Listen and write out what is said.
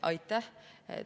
Aitäh!